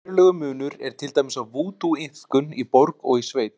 Verulegur munur er til dæmis á vúdúiðkun í borg og í sveit.